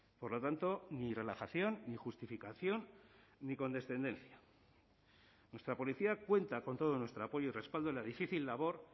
por lo tanto ni relajación ni justificación ni condescendencia nuestra policía cuenta con todo nuestro apoyo y respaldo en la difícil labor